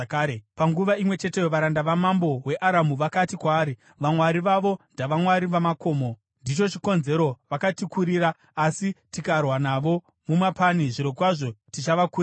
Panguva imwe cheteyo, varanda vamambo weAramu vakati kwaari, “Vamwari vavo ndavamwari vamakomo. Ndicho chikonzero vakatikurira. Asi tikarwa navo mumapani, zvirokwazvo tichavakurira.